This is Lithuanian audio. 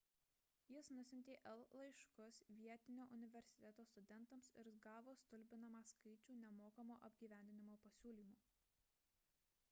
jis nusiuntė el laiškus vietinio universiteto studentams ir gavo stulbinamą skaičių nemokamo apgyvendinimo pasiūlymų